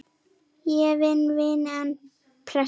Ég vil vinna, en pressa?